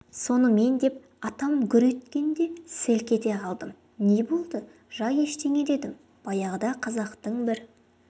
сонымен деп атам гүр еткенде селк ете қалдым не болды жай ештеңе дедім баяғыда қазақтың бір